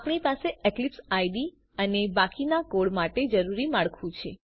આપણી પાસે Eclipse IDE અને બાકીના કોડ માટે જરૂરી માળખું છે